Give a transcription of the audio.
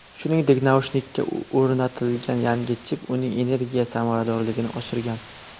Shuningdek, naushnikka o‘rnatilgan yangi chip uning energiya samaradorligini oshirgan.